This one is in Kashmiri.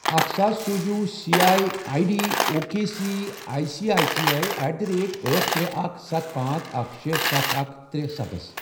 اکھَ ساس سوز U C I I D O K C I C I C I at the rate أٹھ، ترے، اکھَ، ستھَ، پانژھ، اکھَ، شے، ستھَ، اکھَ، ترے، ستھَ ۔